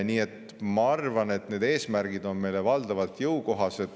Nii et ma arvan, et need eesmärgid on meile valdavalt jõukohased.